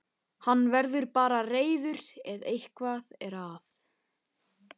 Hann verður bara reiður ef eitthvað er.